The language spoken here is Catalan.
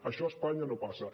això a espanya no passa